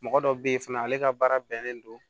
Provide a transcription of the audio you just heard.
Mɔgɔ dɔ bɛ ye fana ale ka baara bɛnnen don